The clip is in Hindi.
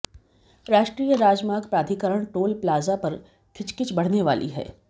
राष्ट्रीय राजमार्ग प्राधिकरण टोल प्लाजा पर खिचखिच बढने वाली है